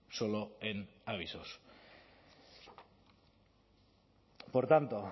solo en avisos por tanto